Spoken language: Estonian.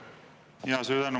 Suur tänu!